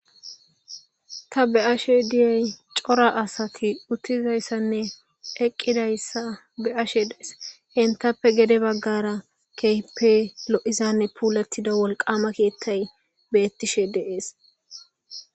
Ta be7ashe diyay cora asati uttizayssanne eqqidayssa be7ashe dees. Entappe gede baggara keehippe lo7izanne puulettida wolqama keeththay beettishe de7ees.